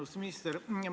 Austatud minister!